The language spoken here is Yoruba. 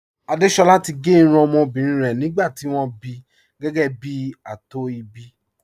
Àdésolá ti gé irun ọmọbìnrin rẹ̀ nígbà tí wọ́n bí gẹ́gẹ́ bí ààtò ìbí